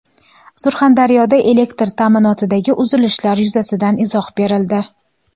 Surxondaryoda elektr ta’minotidagi uzilishlar yuzasidan izoh berildi.